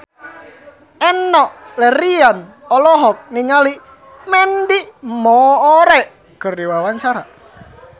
Enno Lerian olohok ningali Mandy Moore keur diwawancara